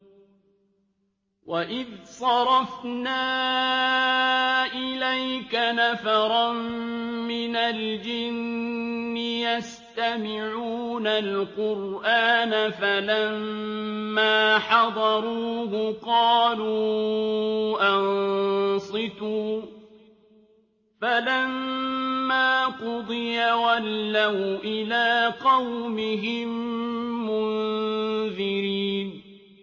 وَإِذْ صَرَفْنَا إِلَيْكَ نَفَرًا مِّنَ الْجِنِّ يَسْتَمِعُونَ الْقُرْآنَ فَلَمَّا حَضَرُوهُ قَالُوا أَنصِتُوا ۖ فَلَمَّا قُضِيَ وَلَّوْا إِلَىٰ قَوْمِهِم مُّنذِرِينَ